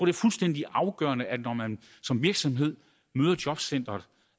er fuldstændig afgørende at man når man som virksomhed møder jobcenteret